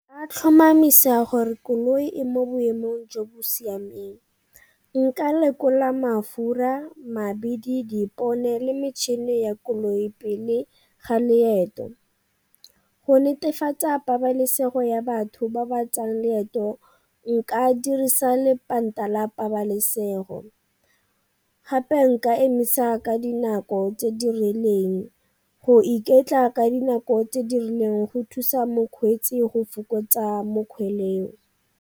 A tlhomamisa a gore koloi e mo boemong jo bo siameng. Nka lekola mafura, mabidi, dipone le metšhini ya koloi pele ga loeto. Go netefatsa pabalesego ya batho ba ba tsayang leeto nka dirisa lepanta la pabalesego, gape nka emisa ka dinako tse di rileng. Go iketla ka dinako tse di rileng go thusa mokgweetsi go fokotsa mo .